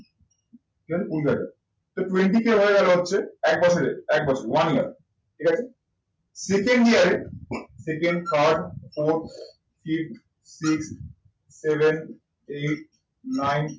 ঠিক আছে কুড়ি হাজার twenty কে হয়ে গেল হচ্ছে এক বছরে। এক বছর one year ঠিক আছে? second year এ second, third, fourth, fifth, sixth, seventh, eighth, nineth